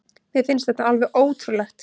Mér finnst þetta alveg ótrúlegt